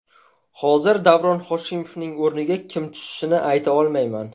Hozir Davron Hoshimovning o‘rniga kim tushishini ayta olmayman.